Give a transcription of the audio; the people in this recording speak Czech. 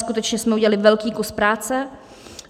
Skutečně jsme udělali velký kus práce.